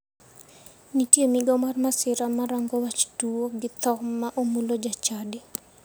Nitie migao mar masira marang'o wach tuo gi tho ma omulo ja chadi.